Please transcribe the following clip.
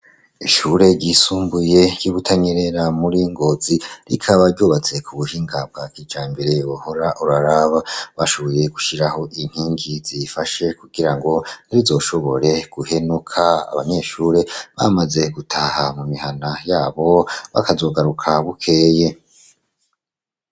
Ishure ry'isumbuye ry' I Butanyerera muri Ngozi rikaba ryubatse ku buhinga bwa kijambere. Wohora uraraba! bashoboye gushiraho inkigi ziyifashe kugirango ntirizoshobore guhenuka. Abanyeshure bamaze gutaha mu mihana, yabo bakazogaruka bukeye.